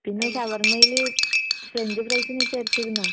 പിന്നെ ഷവർമ്മേല് French fries നീ ചേർത്തിരുന്നോ?